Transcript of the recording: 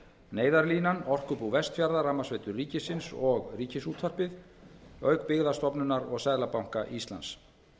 neyðarlínan orkubú vestfjarða rafmagnsveitur ríkisins og ríkisútvarpið auk byggðastofnunar og seðlabanka íslands